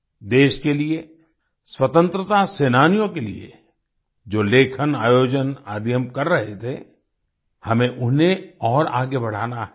देश के लिए स्वतंत्रता सेनानियों के लिए जो लेखनआयोजन आदि हम कर रहे थे हमें उन्हें और आगे बढ़ाना है